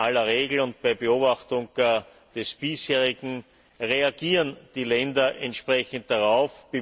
In aller Regel und bei Beobachtung des Bisherigen, reagieren die Länder entsprechen darauf.